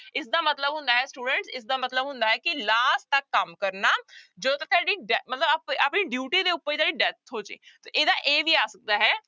ਇਸਦਾ ਮਤਲਬ ਹੁੰਦਾ ਹੈ student ਇਸਦਾ ਮਤਲਬ ਹੁੰਦਾ ਹੈ ਕਿ last ਤੱਕ ਕੰਮ ਕਰਨਾ ਜਦੋਂ ਤੁਹਾਡੀ ਡੈ ਮਤਲਬ ਆ ਆਪਣੀ duty ਦੇ ਉੱਪਰ ਜਿਹੜੀ death ਹੋ ਜਾਏ ਤੇ ਇਹਦਾ a ਵੀ ਆ ਸਕਦਾ ਹੈ।